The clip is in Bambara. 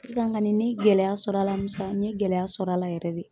Sisan kani ne ye gɛlɛya sɔrɔ a la Musa, n ye gɛlɛya sɔr'a la yɛrɛ de .